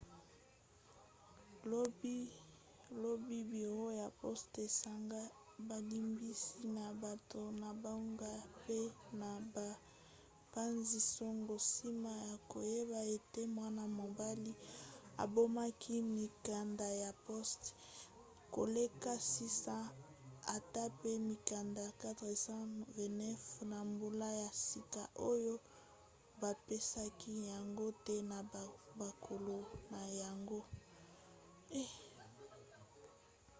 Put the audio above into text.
lobi biro ya poste esengaki bolimbisi na bato na bango pe na bapanzi-sango nsima ya koyeba ete mwana-mobali abombaki mikanda ya poste koleka 600 ata pe mikanda 429 ya mbula ya sika oyo bapesaki yango te na bakolo na yango